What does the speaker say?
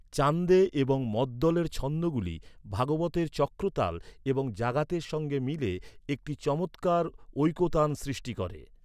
চান্দে এবং মদ্দলের ছন্দগুলি ভাগবতের চক্রতাল এবং জাগাতের সঙ্গে মিলে একটি চমৎকার ঐকতান সৃষ্টি করে।